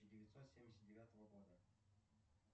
девятьсот семьдесят девятого года